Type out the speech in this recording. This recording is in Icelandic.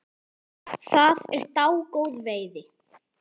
Það er dágóð veiði.